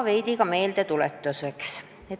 Veidi ka meeldetuletuseks.